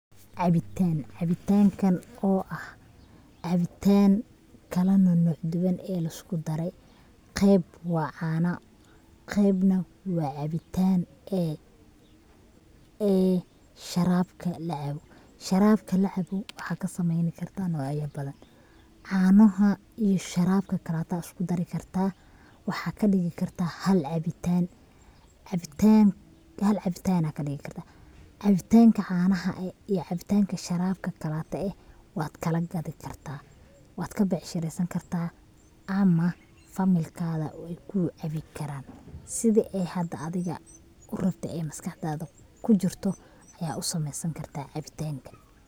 Cabitaan, cabitaankan oo ah cabitaan kala nanoc duban ee lisku daray qeb waa caana qebna waa caabitan ee sharabka lacaabo, sharabka lacaabo waxad kasameeyni kartaa nocya badan, caanaha iyo sharabka kaleto aya isku dari kartaa, waxad kadhigi kartaa hal caabitan, caabitanka caanaha iyo caabitanka sharabka kalate eh wad kala gadi kartaa wad kabecshiresani kartaa ama familkada wayku caabi karaa, sidi ee hada ad adiga urabto ee maskaxdada kujirto aya usameeysan kartaa caabitankan